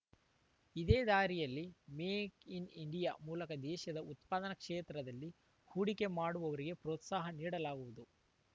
ಇದೇ ದಾರಿಯಲ್ಲಿ make in India ಮೂಲಕ ದೇಶದಲ್ಲಿ ಉತ್ಪಾದನಾ ಕ್ಷೇತ್ರದಲ್ಲಿ ಹೂಡಿಕೆ ಮಾಡುವವರಿಗೆ ಪ್ರೋತ್ಸಾಹ ನೀಡಲಾಗುವುದು